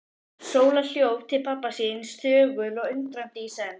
Sóla hljóp til pabba síns, þögul og undrandi í senn.